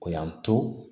O y'an to